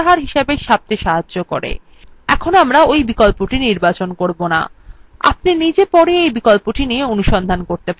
যাইহোক এখানে আমরা we বিকল্পটি নির্বাচন করবো না আপনি নিজে পরে এই বিকল্পটি নিয়ে অনুসন্ধান করবেন